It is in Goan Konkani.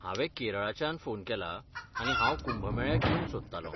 हांवें केरळच्यान फोन केला आनी हांव कुंभ मेळ्याक येवंक सोदतालों.